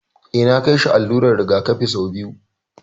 Eh, na kai shi allular rigakafi sau biyu